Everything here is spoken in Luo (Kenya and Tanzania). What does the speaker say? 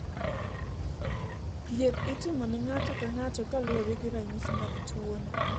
Thieth itimo ne ng'ato ka ng'ato kaluwore gi ranyisi mag tuwono.